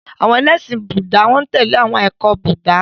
Àwọn ẹlẹ́ṣin Búúdà n tẹ̀lé awọn ẹkọ ti Búúdà.